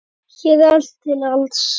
Hér er allt til alls.